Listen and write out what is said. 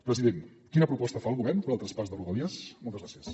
president quina proposta fa el govern per al traspàs de rodalies moltes gràcies